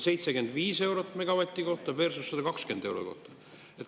75 eurot megavati kohta versus 120 eurot.